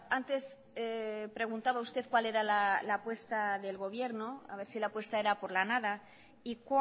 antes preguntaba usted cuál era la apuesta del gobierno a ver si la apuesta era por la nada y